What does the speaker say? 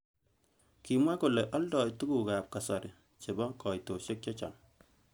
Kimwa kole aldoi tukuk.ab kasari chebo kaitoshek chechang.